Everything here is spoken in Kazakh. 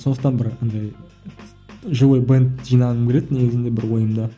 сондықтан бір андай живой бэнд жинағым келеді негізінде бір ойымда